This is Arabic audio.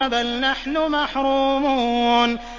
بَلْ نَحْنُ مَحْرُومُونَ